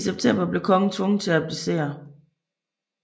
I september blev kongen tvunget til at abdicere